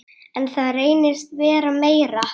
En það reynist vera meira.